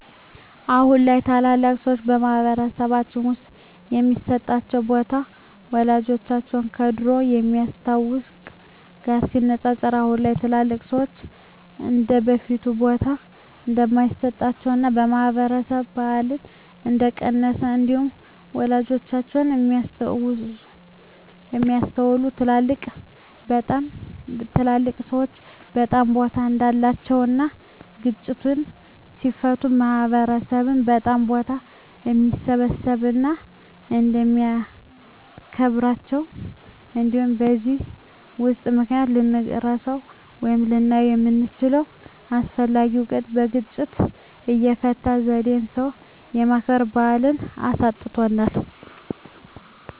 አሁን ላይ ታላላቅ ሰዎች በማህበረሰልባችን ውስጥ የሚሰጣቸው ቦታ ወላጆቻችን ከድሮው ከሚያስታውት ጋር ሲነፃፀር አሁን ላይ ትልልቅ ሰዎች እንደበፊቱ ቦታ እንደማይሰጣቸውና የማክበር ባህላችን እንደቀነሰ እንዲሁም ወላጆቻችን የሚያስታውሱት ትልልቅ ሰዎች በጣም ቦታ እንዳላቸው እና ግጭትን ሲፈቱ ማህበረሰብ በጣም ቦታ እንደሚሰጣቸው እና እንደሚያከብራቸው እንዲሁም በዚህ ለውጥ ምክንያት ልንረሳው ወይም ልናጣው የምንችለው አስፈላጊ እውቀት የግጭት አፈታት ዜዴን ሰው የማክበር ባህልን አሳጥቶናል።